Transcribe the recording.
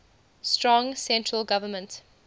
strong central government